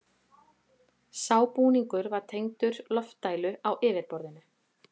Sá búningur var tengdur loftdælu á yfirborðinu.